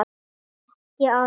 Ég er ekki að fara.